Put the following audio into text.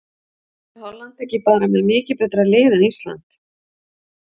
Er Holland ekki bara með mikið betra lið en Ísland?